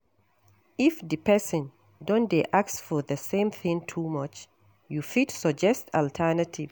If di person don dey ask for the same thing too much, you fit suggest alternative